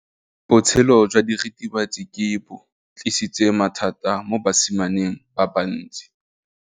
Botshelo jwa diritibatsi ke bo tlisitse mathata mo basimaneng ba bantsi.